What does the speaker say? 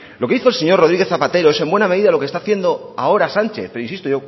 lo que hizo el señor rodríguez zapatero es en buena medida lo que está haciendo ahora sánchez insisto